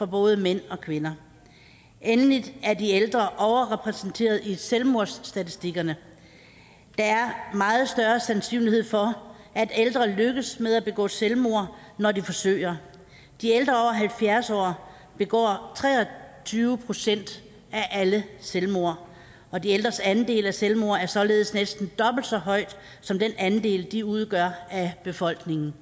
både mænd og kvinder endelig er de ældre overrepræsenteret i selvmordsstatistikkerne der er meget større sandsynlighed for at ældre lykkes med at begå selvmord når de forsøger de ældre over halvfjerds år begår tre og tyve procent af alle selvmord og de ældres andel af selvmord er således næsten dobbelt så høj som den andel de udgør af befolkningen